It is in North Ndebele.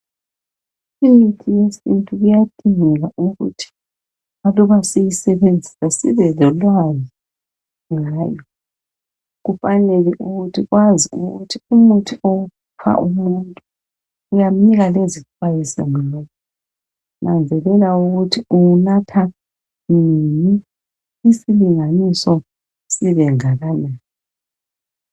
Imithi yesintu kuyadingeka ukuthi aluba siyisebenzisa sibe lolwazi ngayo. Kufanele ukuthi wazi ukuthi umuthi owupha umuntu uyamnika lezixwayiso ngawo. Nanzelela ukuthi uwunatha nini, isilinganiso sibengakanani.